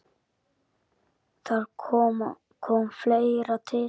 Þar kom fleira til.